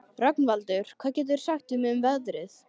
Rögnvaldur, hvað geturðu sagt mér um veðrið?